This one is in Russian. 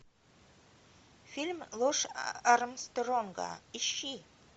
фильм ложь армстронга ищи